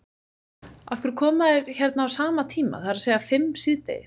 Af hverju koma þeir hérna á sama tíma, það er að segja fimm síðdegis?